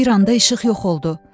Bir anda işıq yox oldu.